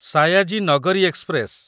Sayaji Nagari express